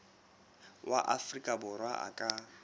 wa afrika borwa a ka